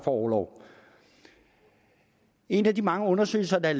orlov en af de mange undersøgelser af